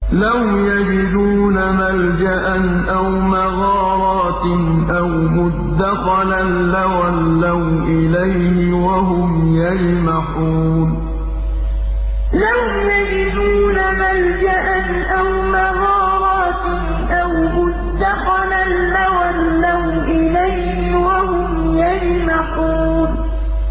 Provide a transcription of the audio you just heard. لَوْ يَجِدُونَ مَلْجَأً أَوْ مَغَارَاتٍ أَوْ مُدَّخَلًا لَّوَلَّوْا إِلَيْهِ وَهُمْ يَجْمَحُونَ لَوْ يَجِدُونَ مَلْجَأً أَوْ مَغَارَاتٍ أَوْ مُدَّخَلًا لَّوَلَّوْا إِلَيْهِ وَهُمْ يَجْمَحُونَ